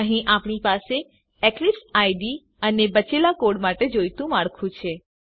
અહીં આપણી પાસે એક્લીપ્સ આઇડીઇ અને બચેલા કોડ માટે જોઈતું માળખું છે